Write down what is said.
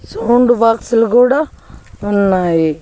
Sound box లు గూడా ఉన్నాయి.